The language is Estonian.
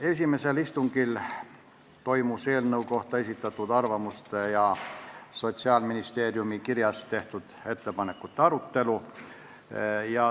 Esimesel istungil toimus eelnõu kohta esitatud arvamuste ja Sotsiaalministeeriumi kirjas tehtud ettepanekute arutelu.